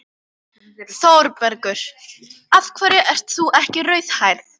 ÞÓRBERGUR: Af hverju ert þú ekki rauðhærð?